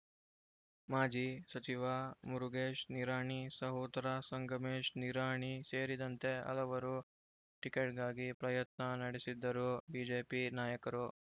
ಮಾಜಿ ಸಚಿವ ಮುರುಗೇಶ್‌ ನಿರಾಣಿ ಸಹೋದರ ಸಂಗಮೇಶ್‌ ನಿರಾಣಿ ಸೇರಿದಂತೆ ಹಲವರು ಟಿಕೆಟ್‌ಗಾಗಿ ಪ್ರಯತ್ನ ನಡೆಸಿದ್ದರೂ ಬಿಜೆಪಿ ನಾಯಕರು